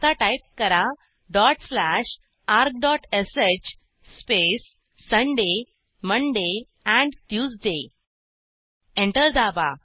आता टाईप करा dot slash argश space Sunday Monday and Tuesday enter दाबा